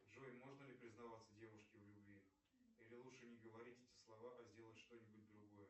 джой можно ли признаваться девушке в любви или лучше не говорить эти слова а сделать что нибудь другое